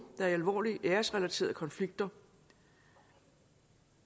er i alvorlige æresrelaterede konflikter